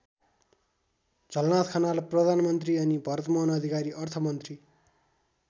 झलनाथ खनाल प्रधानमन्त्री अनि भरतमोहन अधिकारी अर्थमन्त्री।